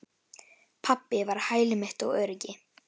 Pabbi var hæli mitt og öryggi.